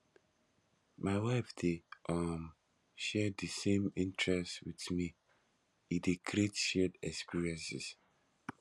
my wife dey um share di same interests wit me e dey create shared experiences